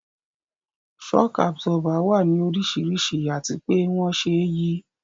Shock Absorber wà ní oríṣiríṣi àti pé wón ṣe é yí